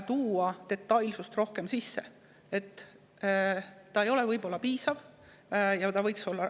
See ei pruugi olla piisav, võiks olla veel detailsem.